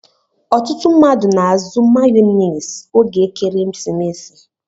Ọtụtụ mmadụ n'azụ mayones oge ekeresimesi.